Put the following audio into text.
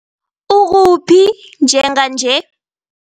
Ukuphi njenganje?